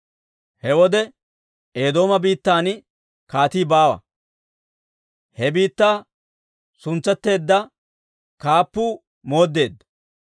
He wode Eedooma biittan kaatii baawa; he biittaa suntsetteedda kaappuu mooddeedda.